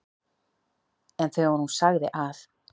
En þegar hún sagði að